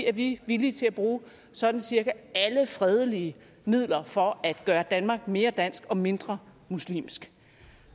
er vi villige til at bruge sådan cirka alle fredelige midler for at gøre danmark mere dansk og mindre muslimsk